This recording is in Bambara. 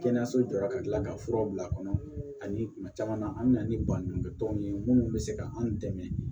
Kɛnɛyaso jɔra ka tila ka fura bila kɔnɔ ani kuma caman na an bɛ na ni baɲumankɛ tɔnw ye minnu bɛ se ka an dɛmɛ